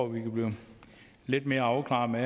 vi kan blive lidt mere afklaret med